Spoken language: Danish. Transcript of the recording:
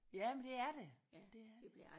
Jamen det er det ja det er det